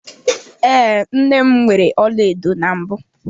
Ee, nne m nwere ọlaedo na mbụ.